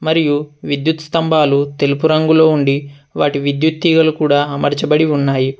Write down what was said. మరియు విద్యుత్ స్థంభాలు తెలుపు రంగులో ఉండి వాటి విద్యుత్ తీగలు కూడా అమర్చబడి ఉన్నాయి.